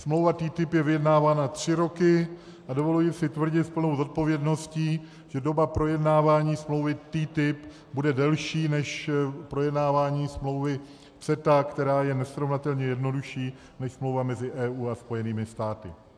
Smlouva TTIP je vyjednávána tři roky a dovolím si tvrdit s plnou zodpovědností, že doba projednávání smlouvy TTIP bude delší než projednávání smlouvy CETA, která je nesrovnatelně jednodušší než smlouva mezi EU a Spojenými státy.